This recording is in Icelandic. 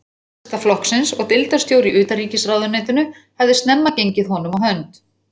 Nasistaflokksins og deildarstjóri í utanríkisráðuneytinu, hafði snemma gengið honum á hönd.